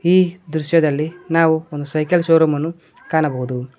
ಈ ದೃಶ್ಯದಲ್ಲಿ ನಾವು ಒಂದು ಸೈಕಲ್ ಶೋರೂಮ್ ಅನ್ನ ಕಾಣಬಹುದು.